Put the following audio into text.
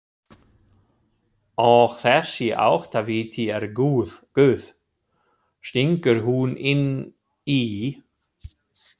Og þessi áttaviti er Guð, stingur hún inn í.